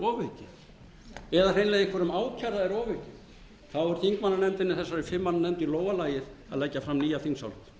er ofaukið eða hreinlega einhverjum ákærða er ofaukið er þessari fimm manna þingmannanefnd í lófa lagið að leggja fram nýja þingsályktun ég minni